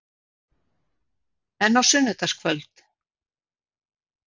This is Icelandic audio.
En á sunnudagskvöld?